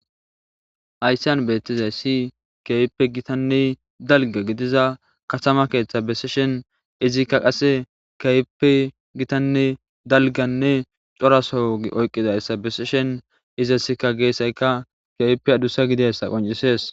Haysseyan beettizay si keype gitanne dalga gidiza katama keeththa beseshen izikka qasse kayppe gitanne dalganne coraso wogi oyqqidayssa beseshen izasika geessayka keyppe adussa gidissa qoncisees.